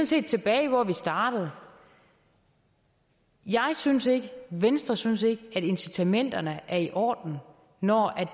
set tilbage hvor vi startede jeg synes ikke og venstre synes ikke at incitamenterne er i orden når